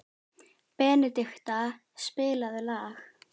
Benedikta, spilaðu lag.